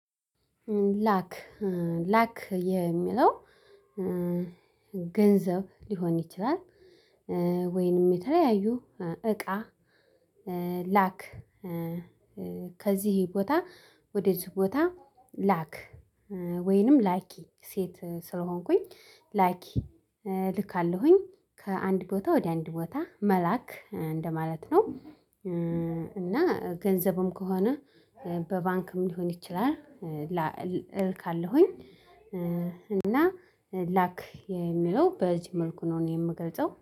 ላክ ላክ የሚለው ገንዘብ ሊሆን ይችላል። ወይንም የተለያዩ እቃ ላክ ከዚህ ቦታ ወደዚህ ቦታ ላክ ወይንም ላኪ ሴት ስለሆንኩኝ ላኪ ልካለሁኝ ከአንድ ቦታ ወደ አንድ ቦታ መላክ እንደማለት ነው። እና ገንዘብም ከሆነ በባንክም ሊሆን ይችላል እልካለሁኝ እና ላክ የሚለው በዚህ መልኩ ነው የምገልጸው።